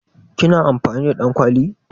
Ki na amfani da ɗankwali?